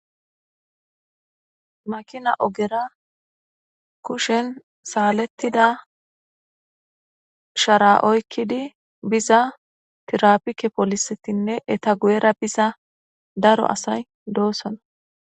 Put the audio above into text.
Makina ogera kushen saalettida shara7oykkidi biza tirapike polisetinne eta guyera biza daro asay doosana